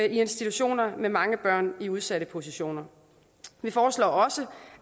institutioner med mange børn i udsatte positioner vi foreslår også